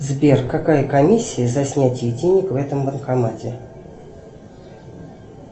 сбер какая комиссия за снятие денег в этом банкомате